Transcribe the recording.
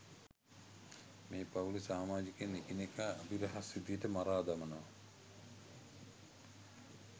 මේ පවුලෙ සාමාඡිකයින් එකිනෙකා අභිරහස් විදියට මරා දමනව